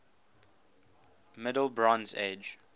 middle bronze age